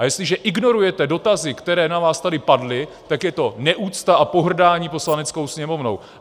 A jestliže ignorujete dotazy, které na vás tady padly, tak je to neúcta a pohrdání Poslaneckou sněmovnou!